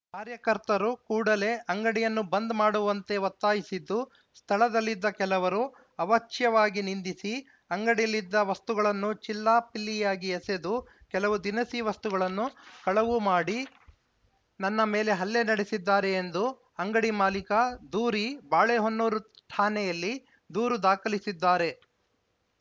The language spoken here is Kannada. ಕಾರ್ಯಕರ್ತರು ಕೂಡಲೇ ಅಂಗಡಿಯನ್ನು ಬಂದ್‌ ಮಾಡುವಂತೆ ಒತ್ತಾಯಿಸಿದ್ದು ಸ್ಥಳದಲ್ಲಿದ್ದ ಕೆಲವರು ಅವಾಚ್ಯವಾಗಿ ನಿಂದಿಸಿ ಅಂಗಡಿಯಲ್ಲಿದ್ದ ವಸ್ತುಗಳನ್ನು ಚಿಲ್ಲಾಪಿಲ್ಲಿಯಾಗಿ ಎಸೆದು ಕೆಲವು ದಿನಸಿ ವಸ್ತುಗಳನ್ನು ಕಳವು ಮಾಡಿ ನನ್ನ ಮೇಲೆ ಹಲ್ಲೆ ನಡೆಸಿದ್ದಾರೆ ಎಂದು ಅಂಗಡಿ ಮಾಲೀಕ ದೂರಿ ಬಾಳೆಹೊನ್ನೂರು ಠಾಣೆಯಲ್ಲಿ ದೂರು ದಾಖಲಿಸಿದ್ದಾರೆ